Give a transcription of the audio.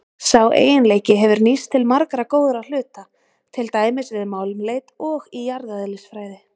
Sá eiginleiki hefur nýst til margra góðra hluta, til dæmis við málmleit og í jarðeðlisfræði.